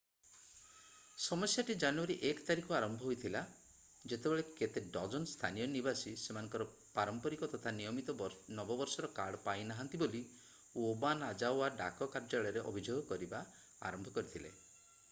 ସମସ୍ୟାଟି January 1 ତାରିଖରୁ ଆରମ୍ଭ ହୋଇଥିଲା ଯେତେବେଳେ କେତେ ଡଜନ୍ ସ୍ଥାନୀୟ ନିବାସୀ ସେମାନଙ୍କର ପାରମ୍ପରିକ ତଥା ନିୟମିତ ନବବର୍ଷର କାର୍ଡ ପାଇନାହାଁନ୍ତି ବୋଲି ଓବାନାଜାୱା ଡାକ କାର୍ଯ୍ୟାଳୟରେ ଅଭିଯୋଗ କରିବା ଆରମ୍ଭ କରିଥିଲେ